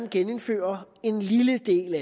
at genindføre en lille del